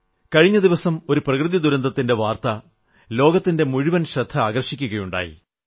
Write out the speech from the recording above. കഴിഞ്ഞ ദിവസം ഒരു പ്രകൃതി ദുരന്തത്തിന്റെ വാർത്ത ലോകത്തിന്റെ മുഴുവൻ ശ്രദ്ധ ആകർഷിക്കുകയുണ്ടായി